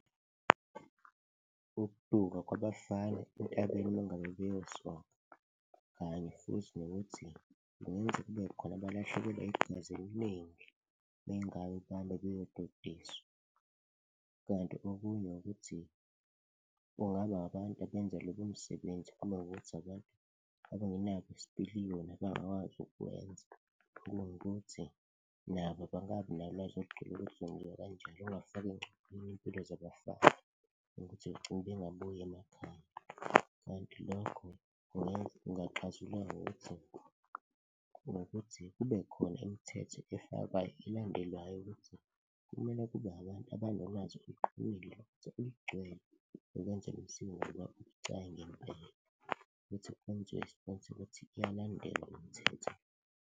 Ukuduka kwabafana entabeni mangabe beyosoka kanye futhi nokuthi kungenza kube khona abalahlekelwa igazi eliningi mengabe bahamba beyododiswa. Kanti okunye ukuthi kungaba abantu abenza lobo msebenzi uma kuwukuthi abantu abangenabo isipiliyoni, abangakwazi ukuwenza kunokuthi nabo bangabi nolwazi olugcwele ukuthi kwenziwa kanjani, okungafaka engcupheni iy'mpilo zabafana ukuthi begcine bengabuyi emakhaya. Kanti lokho kungaxazululwa ngokuthi kubekhona imithetho efakwayo elandelwayo ukuthi kumele kube abantu abanolwazi eluqhumile futhi olugcwele ukwenza lolu siko ngoba libucayi ngempela, ukuthi kwenziwe ukuthi kuyalandelwa umthetho.